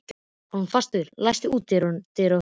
Hólmfastur, læstu útidyrunum.